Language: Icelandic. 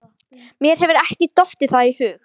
Mér hefur ekki dottið það í hug.